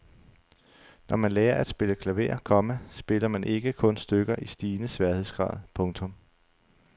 Når man lærer at spille klaver, komma spiller man ikke kun stykker i stigende sværhedsgrad. punktum